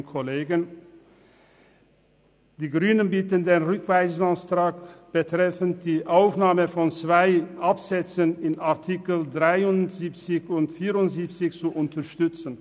Die Grünen bitten darum, den Rückweisungsantrag und die Aufnahme zweier Absätze in den Artikeln 73 und 74 zu unterstützen.